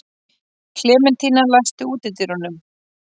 Klementína, læstu útidyrunum.